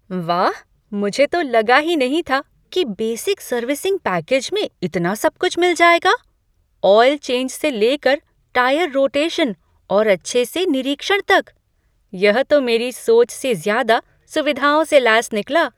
वाह, मुझे तो लगा ही नहीं था कि बेसिक सर्विसिंग पैकेज में इतना सब कुछ मिल जाएगा , ऑइल चेंज से लेकर टायर रोटेशन और अच्छे से निरीक्षण तक। यह तो मेरी सोच से ज़्यादा सुविधाओं से लैस निकला!